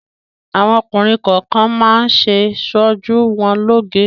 Àwọn ọkùnrin kọọkan máa ń ṣe ṣojú wọn lóoge.